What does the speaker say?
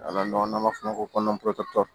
N'a n'a m'a fɔ o ma ko